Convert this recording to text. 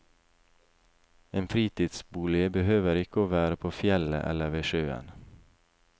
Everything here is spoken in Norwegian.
En fritidsbolig behøver ikke å være på fjellet eller ved sjøen.